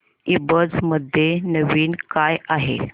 ईबझ मध्ये नवीन काय आहे